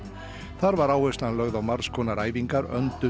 þar var áherslan lögð á margs konar æfingar öndun